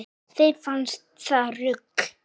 Þeim fannst það rugl